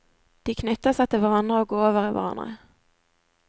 De knytter seg til hverandre og går over i hverandre.